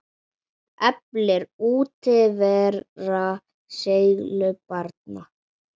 Eflir útivera seiglu barna?